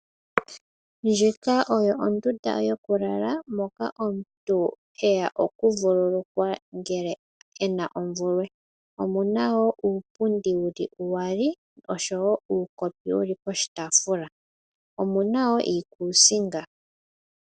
Ndjika oyo ondunda yokulala moka omuntu heya okuvululukwa ngele e na omvulwe. Omuna wo uupundi uyali oshowo uukopi wu li pokataafula. Omu na wo iikusinga.